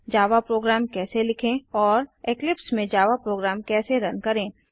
जावा program कैसे लिखें और इक्लिप्स में जावा प्रोग्राम कैसे रन करें